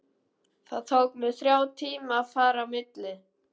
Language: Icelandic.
Það tók mig þrjá tíma að fara á milli.